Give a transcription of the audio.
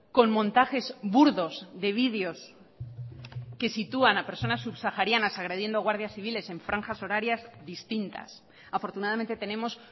con montajes burdos de videos que sitúan a personas subsaharianas agrediendo guardias civiles en franjas horarias distintas afortunadamente tenemos